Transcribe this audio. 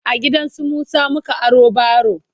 a gidansu Musa muka aro baro